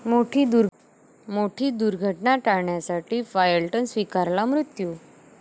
मोठी दुर्घटना टाळण्यासाठी पायलटनं स्वीकारला मृत्यू